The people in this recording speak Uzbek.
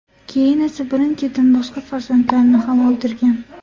Keyin esa birin-ketin boshqa farzandlarini ham o‘ldirgan.